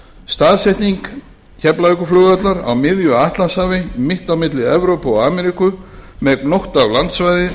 staðsetningin keflavíkurflugvallar á miðju atlantshafi mitt á milli evrópu og ameríku með gnótt af landsvæðin